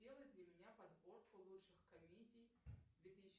сделай для меня подборку лучших комедий две тысячи